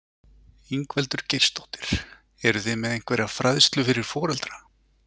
Ingveldur Geirsdóttir: Eruð þið með einhverja fræðslu fyrir foreldra?